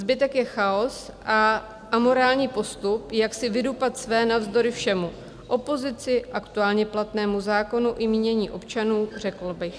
Zbytek je chaos a amorální postup, jak si vydupat své navzdory všemu - opozici, aktuálně platnému zákonu i mínění občanů, řekla bych.